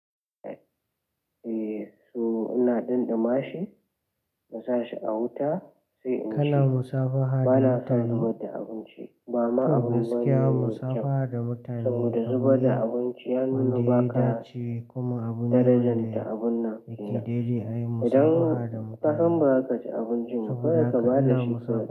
Eh so ina ɗinɗi mashi na sa shi a wuta sai in ci. Bana son zubar da abinci, ba ma abu bane mai kyau saboda zubar da abinci ya nuna ba ka darajanta abun nan. Idan kasan baza kaci abincin ba, kawai ka ba da shi kawai.